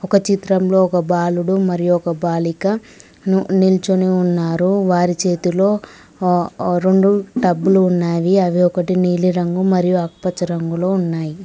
ఒక చిత్రంలో ఒక బాలుడు మరియు ఒక బాలిక ను నిల్చొని ఉన్నారు వారి చేతిలో ఆ ఆ రొండు టబ్బులు ఉన్నావి అవి ఒకటి నీలిరంగు మరియు ఆకుపచ్చ రంగులో ఉన్నాయి.